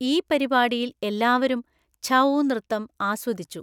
ഈ പരിപാടിയിൽ എല്ലാവരും ഛഊ നൃത്തം ആസ്വദിച്ചു.